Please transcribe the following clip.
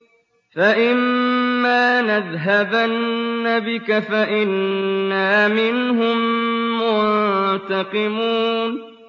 فَإِمَّا نَذْهَبَنَّ بِكَ فَإِنَّا مِنْهُم مُّنتَقِمُونَ